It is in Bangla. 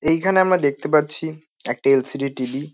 এইখানে আমরা দেখতে পাচ্ছি একটা এল.সি.ডি. টি.ভি. ।